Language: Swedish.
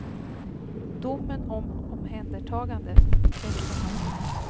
Domen om omhändertagande bekräftar hans ord.